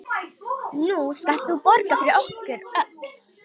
Nú skalt þú borga fyrir okkur öll.